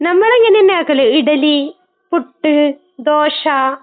നമ്മൾ ഇങ്ങനെ തന്നെയാ ആക്കല്. ഇഡലി, പുട്ട്, ദോശ.